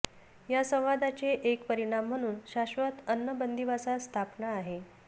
या संवादाचे एक परिणाम म्हणून शाश्वत अन्न बंदिवासात स्थापना आहेत